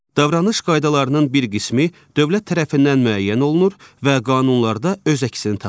Davranış qaydalarının bir qismi dövlət tərəfindən müəyyən olunur və qanunlarda öz əksini tapır.